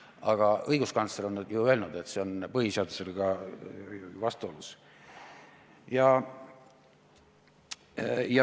Aga õiguskantsler on nüüd ju öelnud, et see on põhiseadusega vastuolus.